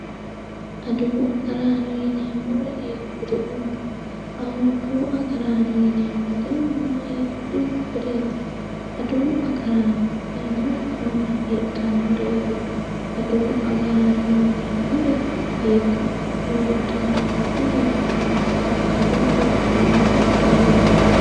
Adawu agarrano yineemmori hiikkuriutu, adawu agarrano yineemmori mama heedhanoreti ,adawu agarraano yineemmori hiikko hiikko heedhanoreti ,hiikko mannati, adawu agarano